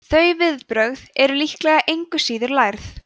þau viðbrögð eru líklega engu síður lærð